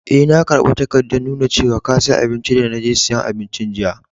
Eh, na karba takadan nuna cewa ka siya abinci de na je siyan abincin jiya.